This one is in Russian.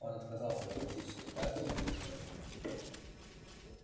он отказался от пластической операции и удалился от мира